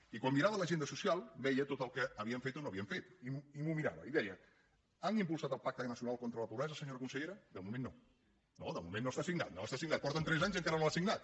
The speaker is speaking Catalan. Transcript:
i quan mirava l’agenda social veia tot el que havien fet o no havien fet i m’ho mirava i deia han impulsat el pacte nacional contra la pobresa senyora consellera de moment no no de moment no està signat no està signat porten tres anys i encara no l’han signat